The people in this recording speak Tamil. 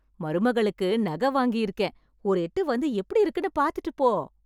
மருமகளுக்கு நகை வாங்கிருக்கேன்... ஒரு எட்டு வந்து எப்டி இருக்குன்னு பாத்துட்டுப் போ.